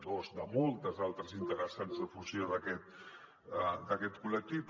dos de moltes altres interessants de fusió d’aquest col·lectiu